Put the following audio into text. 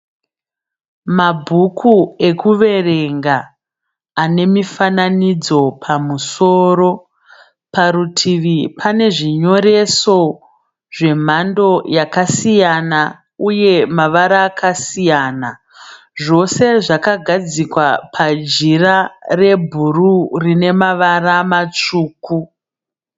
Mabhuku ekuverenga anemifananidzo pamusoro. Parutivi pane zvinyoreso zvemhando yakasiyana uye mavara akasiyana. Zvose zvakagadzikwa pajira rebhuruu rine mavara matsvuku.